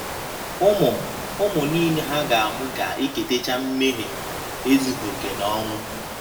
Ụmụ ụmụ nile ha ga - amụ ga - eketacha mmehie — ezughị okè na ọnwụ.